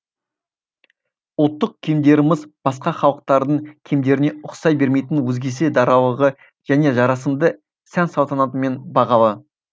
ұлттық киімдеріміз басқа халықтардың киімдеріне ұқсай бермейтін өзгеше даралығы және жарасымды сән салтанатымен бағалы